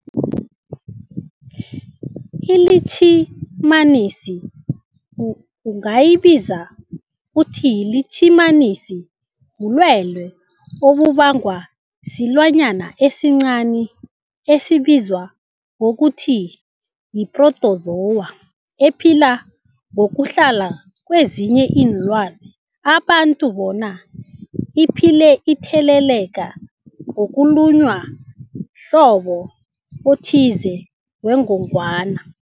ILitjhimanisi ungayibiza uthiyilitjhimanisi, bulwelwe obubangwa silwanyana esincani esibizwa ngokuthiyi-phrotozowa ephila ngokuhlala kezinye iinlwana, abantu bona iphile itheleleka ngokulunywa mhlobo othize wengogwana.